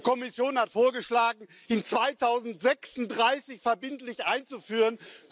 Die Kommission hat vorgeschlagen, ihn 2036 verbindlich einzuführen.